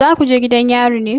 Za ku je gidan yari ne?